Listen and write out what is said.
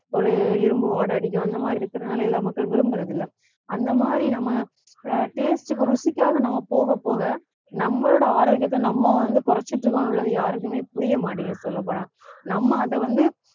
ஒரு இரும்பு வாடை அடிக்கும் அந்த மாதிரி இருக்கறதுனால எல்லா மக்கள் விரும்பறது இல்லை அந்த மாதிரி நம்ம ஆஹ் taste க்கு ருசிக்காக நம்ம போகப் போக நம்மளோட ஆரோக்கியத்தை நம்ம வந்து குறைச்சிட்டு இருக்கோம் உள்ளது யாருக்குமே புரிய மாட்டேங்குது சொல்லப் போனா நம்ம அதை வந்து